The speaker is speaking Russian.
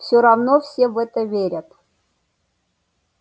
всё равно все в это верят